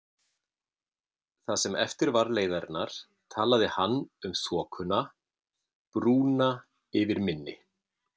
Það sem eftir var leiðarinnar, talaði hann um þokuna, brúna yfir mynni